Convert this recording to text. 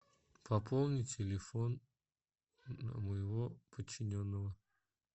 пополни телефон моего подчиненного